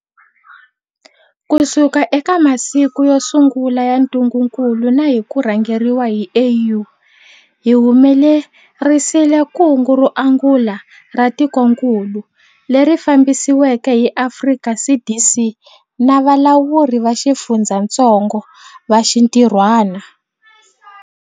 Kusuka eka masiku yo sungula ya ntungukulu na hi ku rhangeriwa hi AU, hi humelerisile kungu ro angula ra tikokulu, leri fambisiweke hi Afrika CDC na valawuri va xifundzatsongo va xintirhwana.